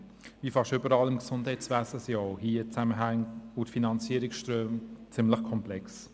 Wie fast überall im Gesundheitswesen sind auch hier die Zusammenhänge und Finanzierungsströme ziemlich komplex.